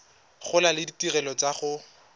gola le ditirelo tsa go